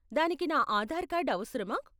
దానికి నా ఆధార్ కార్డ్ అవసరమా?